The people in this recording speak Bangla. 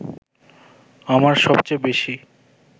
আমার সবচেয়ে বেশি